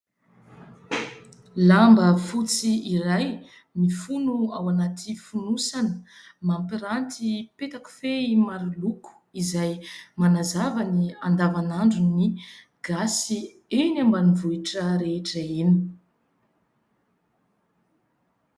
Lamba fotsy iray mifono ao anaty fonosana, mampiranty petakofehy maro loko izay manazava ny andavanandron'ny Gasy eny ambanivohitra rehetra eny.